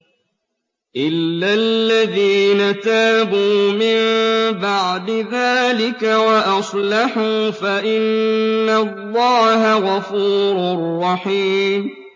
إِلَّا الَّذِينَ تَابُوا مِن بَعْدِ ذَٰلِكَ وَأَصْلَحُوا فَإِنَّ اللَّهَ غَفُورٌ رَّحِيمٌ